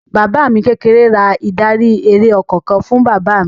Bàbá mi kékeré ra ìdarí-eré ọkọ̀ kan fún bàbá mi.